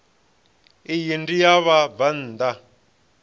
iyi ndi ya vhabvann ḓa